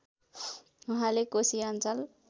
उहाँले कोशी अञ्चल